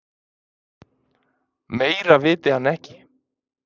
Meira viti hann ekki.